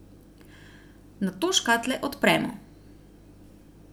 Nato škatle odpremo.